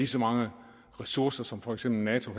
så mange ressourcer som for eksempel nato